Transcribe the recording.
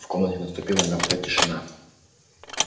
в комнате наступила мёртвая тишина